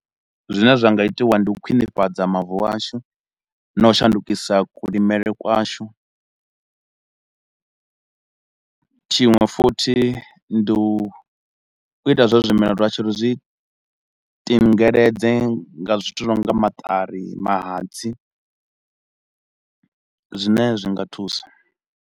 Zwine zwa nga itiwa ndi u khwinifhadza mavu ashu na u shandukisa kulimele kwashu. Tshiṅwe futhi ndi u ita zwa uri zwimela zwashu ri zwi tingeledze nga zwithu zwi no nga maṱari, mahatsi, zwine zwi nga thusa.